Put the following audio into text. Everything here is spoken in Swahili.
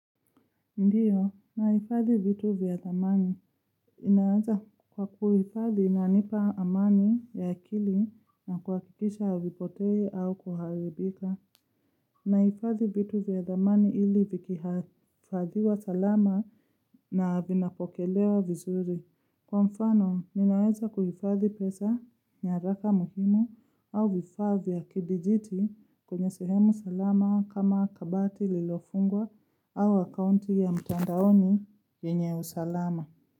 Ndiyo, nahifadhi vitu vya thamani. Inaaza kwa kuhifadhi inanipa amani ya akili na kuakikisha avipotei au kuharibika. Naifadhi vitu vya thamani ili vikihafadhiwa salama na vinapokelewa vizuri. Kwa mfano, ninaeza kuhifadhi pesa nyaraka muhimu au vifaa vya kidijiti kwenye sehemu salama kama kabati lililofungwa au akaunti ya mtandaoni yenye usalama.